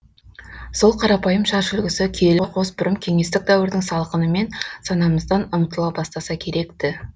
сол қарапайым шаш үлгісі киелі қос бұрым кеңестік дәуірдің салқынымен санамыздан ұмытыла бастаса керек ті